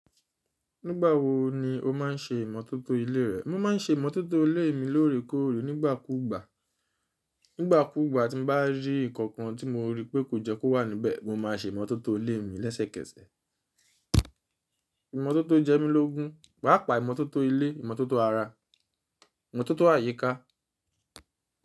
Nígbà wo ni o má ń se ìmọ́tótó ilé rẹ? Mo má ń se ìmọ́tótó ilé mi lóòrèkóòrè nígbàkúgbà. Nígbàkúgbà tí mo bá rí nǹkan tí mo rí pé kò jẹ́ kó wà níbẹ̀, mo ma se ìmọ́tótó ilé mi lẹ́sẹ̀kẹsẹ̀. Ìmọ́tótó jẹ́ mí lógún. Wàá pa ìmọ́tótó ilé, ìmọ́tótó ara, ìmọ́tótó àyíká.